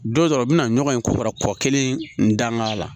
Don dɔ o bɛna ɲɔgɔn in ko fɔ kɔ kelen danga la